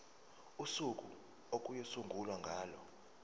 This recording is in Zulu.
usuku okuyosungulwa ngalo